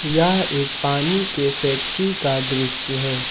यह एक पानी के फैक्ट्री का दृश्य है।